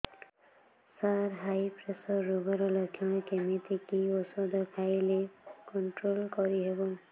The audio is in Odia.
ସାର ହାଇ ପ୍ରେସର ରୋଗର ଲଖଣ କେମିତି କି ଓଷଧ ଖାଇଲେ କଂଟ୍ରୋଲ କରିହେବ